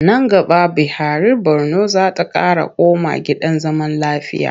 Nan gaba Bihari Borno za ta ƙara komawa gidan zaman lafiya.